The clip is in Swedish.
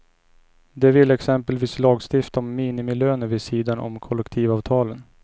De vill exempelvis lagstifta om minimilöner vid sidan om kollektivavtalen.